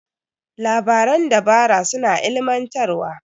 Labaran dabara suna ilimantarwa.